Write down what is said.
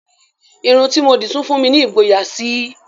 Irun tí mo dì tún fún mi ní ìgboyà síi